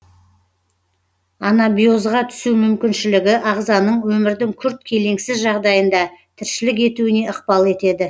анабиозға түсу мүмкіншілігі ағзаның өмірдің күрт келеңсіз жағдайында тіршілік етуіне ықпал етеді